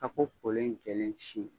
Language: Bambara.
Tako kolen jɛlen sin